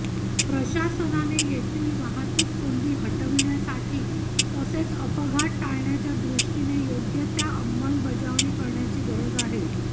प्रशासनाने येथील वाहतूक कोंडी हटविण्यासाठी तसेच अपघात टाळण्याच्या दृष्टीने योग्य त्या अंमलबजावणी करण्याची गरज आहे